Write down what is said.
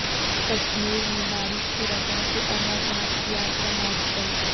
کشمیر میں بارش کی وجہ سے امرناتھ یاترا معطل